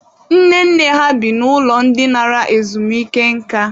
Nne nne ha bi n'ụlọ ndị nara ezumike nka.